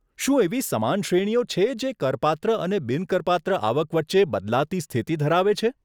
શું એવી સમાન શ્રેણીઓ છે કે જે કરપાત્ર અને બિન કરપાત્ર આવક વચ્ચે બદલાતી સ્થિતિ ધરાવે છે?